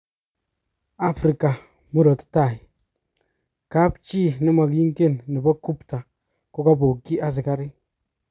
Africa murot tai:Kapchi nemokingen nebo Gupta kokobokyi asikarik